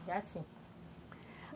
Assim.